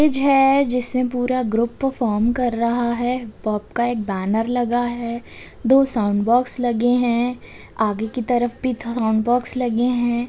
Stage है जिसमें पूरा ग्रुप परफॉर्म कर रहा है पॉप का एक बैनर लगा है दो साउन्ड बॉक्स लगे हैं आगे की तरफ भी दो साउन्ड बॉक्स लगे हैं।